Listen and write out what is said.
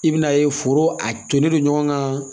I bina ye foro a tolen don ɲɔgɔn kan